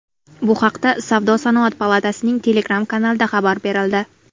Bu haqda Savdo-sanoat palatasining Telegram-kanalida xabar berildi .